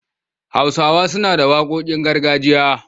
Hausawa suna da waƙoƙin gargajiya.